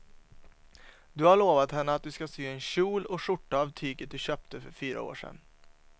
Du har lovat henne att du ska sy en kjol och skjorta av tyget du köpte för fyra år sedan.